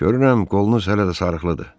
Görürəm qolunuz hələ də sarıqlıdır.